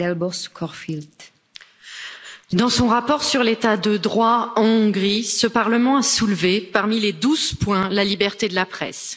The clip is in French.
Madame la Présidente, dans son rapport sur l'État de droit, en Hongrie, ce Parlement a soulevé, parmi les douze points, la liberté de la presse.